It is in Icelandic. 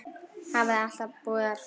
Hafði alltaf búið þar.